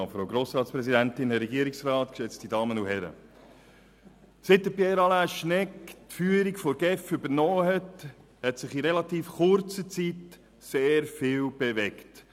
Seit Pierre Alain Schnegg die Führung der GEF übernommen hat, hat sich in relativ kurzer Zeit sehr viel bewegt.